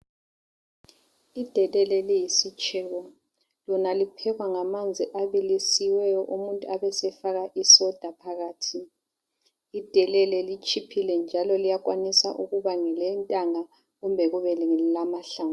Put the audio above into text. Idelele liyisitshebo, lona liphekwa ngamanzi abilisiweyo umuntu abesefaka isoda phakathi. Idelele litshiphile njalo liyakwanisa ukuba ngelentanga kumbe kube ngelamahlamvu